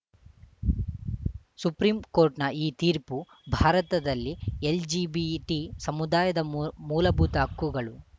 supreme ಕೋರ್ಟ್‌ನ ಈ ತೀರ್ಪು ಭಾರತದಲ್ಲಿ ಎಲ್‌ಜಿಬಿಇಟಿ ಸಮುದಾಯದ ಮೂಲಭೂತ ಹಕ್ಕುಗಳು